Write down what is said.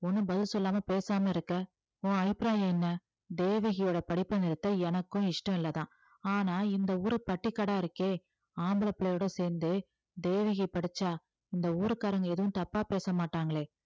ஒண்ணும் பதில் சொல்லாம பேசாம இருக்க உன் அபிப்பிராயம் என்ன தேவகியோட படிப்பை நிறுத்த எனக்கும் இஷ்டம் இல்லைதான் ஆனா இந்த ஊரு பட்டிக்காடா இருக்கே ஆம்பளை பிள்ளையோட சேர்ந்து தேவகி படிச்சா இந்த ஊர்க்காரங்க எதுவும் தப்பா பேச மாட்டாங்களே